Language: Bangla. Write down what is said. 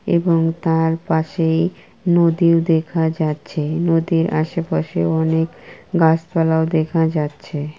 এবং তার পাশেই নদীর দেখা যাচ্ছে নদীর আশেপাশে অনেক গাছপালাও দেখা যাচ্ছে।